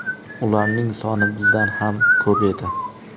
Ularning soni bizdan ham ko‘p edi.